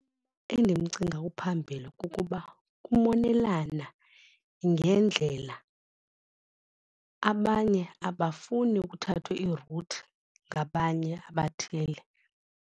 Endimcinga uphambili kukuba kumonelana ngendlela abanye abafuni kuthathwe iiruthi ngabanye abathile.